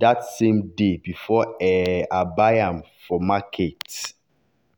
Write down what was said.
that same day before um i buy am for market.